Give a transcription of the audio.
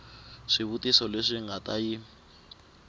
swivutiso leswi nga ta yi